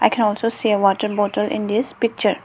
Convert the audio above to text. we can also see water bottle in this picture.